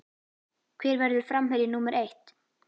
Hver verður framherji númer eitt?